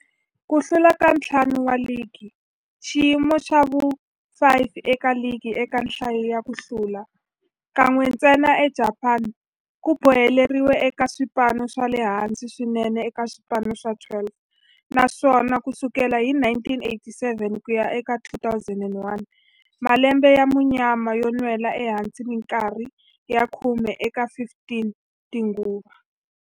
Ku hlula ka ntlhanu wa ligi, xiyimo xa vu-5 eka ligi eka nhlayo ya ku hlula, kan'we ntsena eJapani, ku boheleriwile eka swipano swa le hansi swinene eka swipano swa 12, naswona ku sukela hi 1987 ku ya eka 2001, malembe ya munyama yo nwela ehansi minkarhi ya khume eka 15 tinguva.